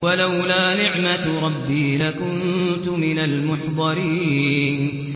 وَلَوْلَا نِعْمَةُ رَبِّي لَكُنتُ مِنَ الْمُحْضَرِينَ